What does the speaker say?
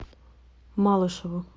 малышеву